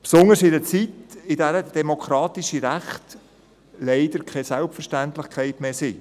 – Besonders in einer Zeit, in der demokratische Rechte leider keine Selbstverständlichkeit mehr sind;